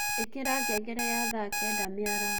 ĩkĩra ngengere ya thaa kenda mĩaraho